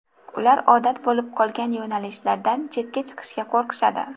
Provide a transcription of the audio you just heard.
Ular odat bo‘lib qolgan yo‘nalishlardan chetga chiqishga qo‘rqishadi.